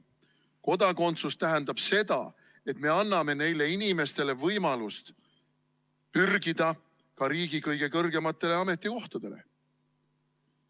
Kodakondsus tähendab seda, et me anname inimestele võimaluse pürgida ka riigi kõige kõrgematele ametikohtadele.